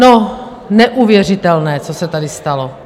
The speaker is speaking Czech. No, neuvěřitelné, co se tady stalo.